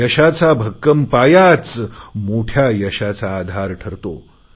यशाचा भक्कम पायाच मोठया यशाचा आधार ठरतो